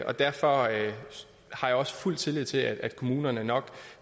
og derfor har jeg også fuld tillid til at kommunerne nok